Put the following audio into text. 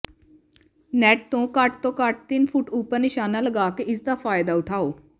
net ਤੋਂ ਘੱਟ ਤੋਂ ਘੱਟ ਤਿੰਨ ਫੁੱਟ ਉਪਰ ਨਿਸ਼ਾਨਾ ਲਗਾ ਕੇ ਇਸ ਦਾ ਫਾਇਦਾ ਉਠਾਓ